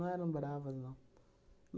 Não eram bravas, não.